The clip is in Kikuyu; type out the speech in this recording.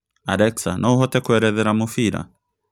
Alexa no ũhote kũerethera mũbira